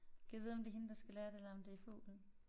Gad vide om det hende der skal lære det eller om det fuglen